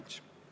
Aitäh!